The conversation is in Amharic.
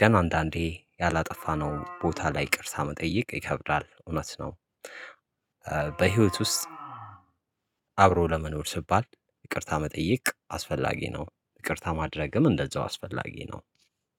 ግን አንዳንዴ ያላጠፋነው ቦታ ላይ ይቅርታ መጠየቅ ይከብዳል እውነት ነው። በህይወት ውስጥ አብሮ ለመኖር ሲባል ይቅርታ መጠየቅ አስፈላጊ ነው። ይቅርታ ማድረግም እንደዛው አስፈላጊ ነው።